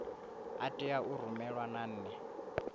a tea u rumelwa nane